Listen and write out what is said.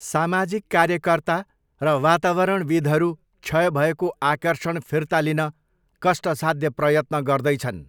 सामाजिक कार्यकर्ता र वातावरणविद्हरू क्षय भएको आकर्षण फिर्ता लिन कष्टसाध्य प्रयत्न गर्दैछन्।